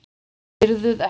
Heyrðuð ekkert?